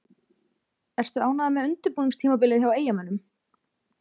Ertu ánægður með undirbúningstímabilið hjá Eyjamönnum?